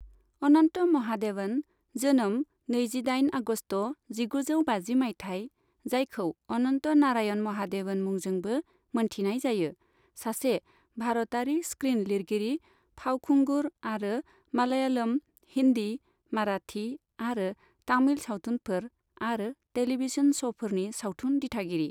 अनन्त महादेवन, जोनोम नैजिदाइन आगस्त जिगुजौ बाजि मायथाइ, जायखौ अनन्त नारायण महादेवन मुंजोंबो मोनथिनाय जायो, सासे भारतारि स्क्रिन लिरगिरि, फावखुंगुर आरो मालयालम, हिन्दि, माराठि आरो तमिल सावथुनफोर आरो टेलीभिजन श'फोरनि सावथुन दिथागिरि।